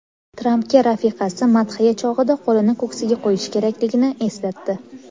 Trampga rafiqasi madhiya chog‘ida qo‘lini ko‘ksiga qo‘yish kerakligini eslatdi .